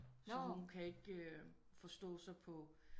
Så hun kan ikke forstå sig på